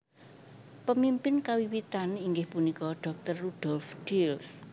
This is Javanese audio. Pemimpin kawiwitan inggih punika Dr Rudolf Diels